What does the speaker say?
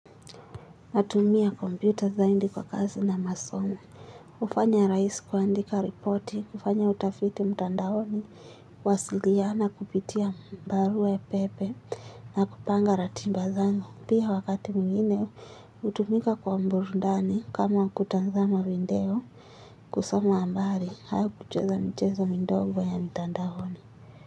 Natumia kompyuta zaidi kwa kazi na masomo, hufanya rahisi kuandika repoti, hufanya utafiti mtandaoni, huwasiliana kupitia barue pepe na kupanga ratiba zangu. Pia wakati mwingine, hutumika kwa burudani kama kutazama video, kusoma habari, au kucheza mchezo midogo ya mtandaoni.